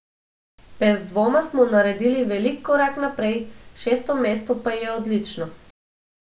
Brez dvoma smo naredili velik korak naprej, šesto mesto pa je odlično.